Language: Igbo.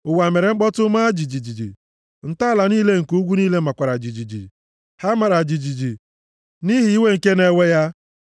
Ụwa mere mkpọtụ, maa jijiji, ntọala niile nke ugwu niile makwara jijiji, ha mara jijiji nʼihi iwe nke na-ewe ya.